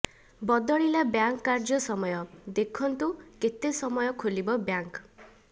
ବଦଳିଲା ବ୍ୟାଙ୍କ କାର୍ଯ୍ୟ ସମୟ ଦେଖନ୍ତୁ କେତେ ସମୟ ଖୋଲିବ ବ୍ୟାଙ୍କ